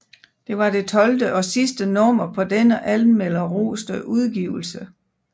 Det var det tolvte og sidste nummer på denne anmelderroste udgivelse